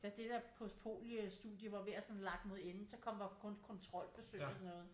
Da det der postpolio studie var ved at sådan lakke mod ende så kom der jo kun kontrolforsøg og sådan noget